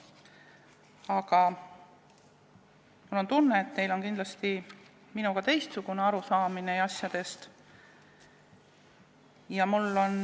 Aga mul on tunne, et teil on kindlasti teistsugune arusaam asjadest kui minul.